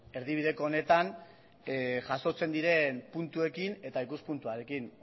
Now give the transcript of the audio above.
erdibideko honetan jasotzen diren puntuekin eta ikuspuntuarekin